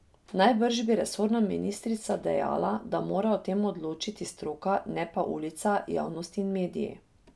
Najbrž bi resorna ministrica dejala, da mora o tem odločati stroka, ne pa ulica, javnost in mediji...